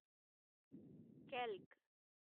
calc